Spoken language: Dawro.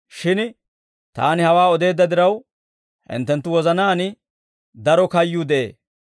Shin Taani hawaa odeedda diraw, hinttenttu wozanaan daro kayyuu de'ee.